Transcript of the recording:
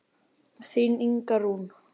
Þín Inga Rún.